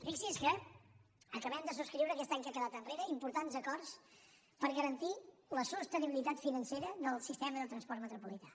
fixi’s que acabem de subscriure aquest any que ha quedat enrere importants acords per garantir la sostenibilitat financera del sistema del transport metropolità